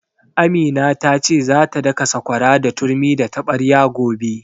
Amina ta ce za ta daka sakwara da turmi da taɓarya gobe